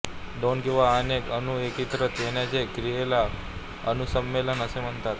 दोन किंवा अनेक अणू एकत्रित येण्याच्या क्रियेला अणू सम्मीलन असे म्हणतात